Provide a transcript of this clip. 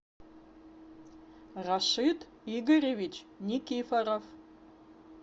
рашид игоревич никифоров